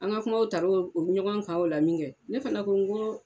An ka kuma taraw ɲɔgɔn kan o la min kɛ ne fana ko n ko